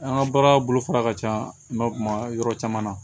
An ka baara bolofara ka ca an ka kuma yɔrɔ caman na